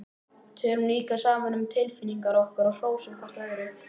Tölum líka saman um tilfinningar okkar og hrósum hvort öðru.